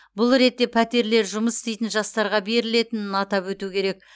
бұл ретте пәтерлер жұмыс істейтін жастарға берілетінін атап өту керек